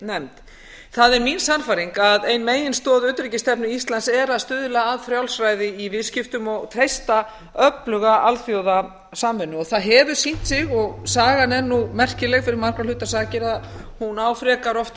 nefnd það er mín sannfæring að ein meginstoð utanríkisstefnu íslands sé að stuðla að frjálsræði í viðskiptum og treysta öfluga alþjóðasamvinnu það hefur sýnt sig og sagan er nú merkileg fyrir margra hluta sakir að hún á frekar oft